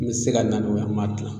N be se ka na n'o ye an b'a kilan